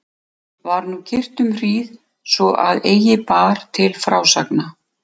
Var nú kyrrt um hríð svo að eigi bar til frásagna.